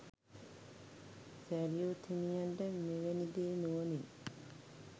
සැරියුත් හිමියන්ට මෙවැනි දේ නුවණින්